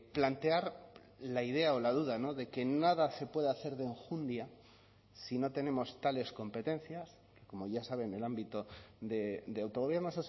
plantear la idea o la duda de que nada se puede hacer de enjundia si no tenemos tales competencias como ya sabe en el ámbito de autogobierno